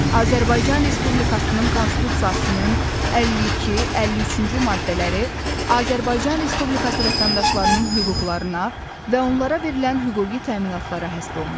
Azərbaycan Respublikasının Konstitusiyasının 52-53-cü maddələri Azərbaycan Respublikası vətəndaşlarının hüquqlarına və onlara verilən hüquqi təminatlara həsr olunub.